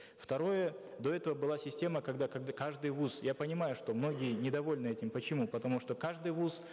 второе до этого была система когда когда каждый вуз я понимаю что многие ннедовольны этим почему потому что каждый вуз